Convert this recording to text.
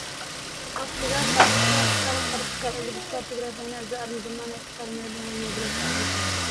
አብ ትግራይ ካብ ዝርከባ ትካላተ ሓደ ትካል እግሪ ምትካል ትግራይ ኮይና እዚ አርማ ድማ ናይ ትካሎም መለለይ ወይ መግለፅ አርሞኦም እዩ።